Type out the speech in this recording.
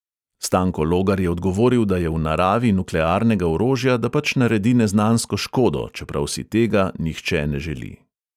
Stanko logar je odgovoril, da je v naravi nuklearnega orožja, da pač naredi neznansko škodo, čeprav si tega nihče ne želi.